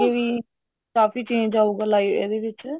ਵੀ ਕਾਫੀ change ਆਉਗਾ ਇਹਦੇ ਵਿੱਚ